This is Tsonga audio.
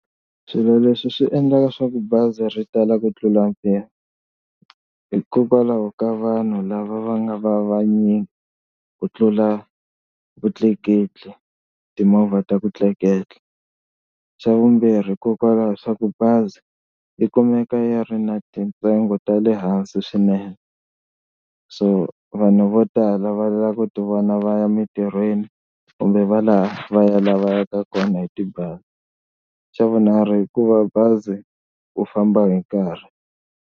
Swilo leswi swi endlaka leswaku bazi ri tala ku tlula mpimo hikokwalaho ka vanhu lava va nga va vanyingi ku tlula vutleketli, timovha ta ku tleketla. Xa vumbirhi hikokwalaho swa ku bazi yi kumeka yi ri na tintsengo ta le hansi swinene so vanhu vo tala va lava ku ti vona va ya emitirhweni kumbe va laha va lavaka kona hi tibazi, xa vunharhu hikuva bazi u famba hi nkarhi.